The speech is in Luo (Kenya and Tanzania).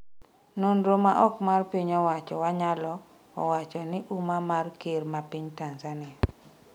nonro ma ok mar piny owacho Wanyalo owacho ni umma mar ker ma Tanzania,